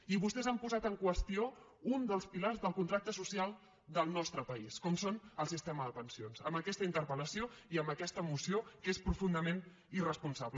i vostès han posat en qüestió un dels pilars del contracte social del nostre país com és el sistema de pensions amb aquesta interpellació i amb aquesta moció que és profundament irresponsable